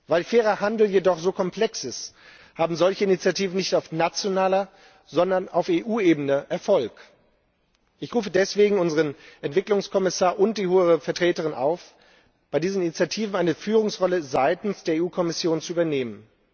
Weil fairer Handel jedoch so komplex ist, haben solche Initiativen nicht auf nationaler, sondern auf EU Ebene Erfolg. Ich rufe deswegen unseren Entwicklungskommissar und die Hohe Vertreterin auf, bei diesen Initiativen eine Führungsrolle seitens der EU Kommission zu übernehmen.